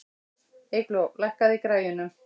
Eygló, lækkaðu í græjunum.